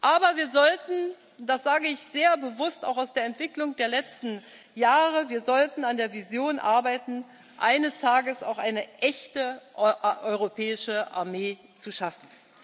Aber wir sollten das sage ich sehr bewusst auch aus der Entwicklung der letzten Jahre an der Vision arbeiten, eines Tages auch eine echte europäische Armee zu schaffen.